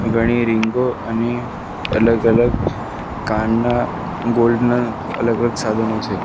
ઘણી રીંગો અને અલગ-અલગ કાનના ગોલ્ડ ના અલગ-અલગ સાધનો છે.